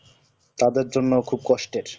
তাদের জন্য খুব কষ্টের